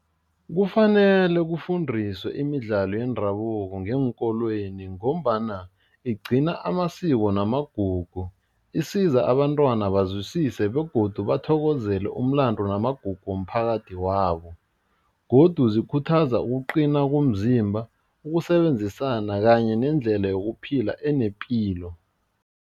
Kufanele kufundiswe imidlalo yendabuko ngeenkolweni ngombana igcina amasiko namagugu, isiza abantwana bazwisise begodu bathokozele umlando namagugu womphakathi wabo godu zikhuthaza ukuqina komzimba ukusebenzisana kanye nendlela yokuphila enepilo.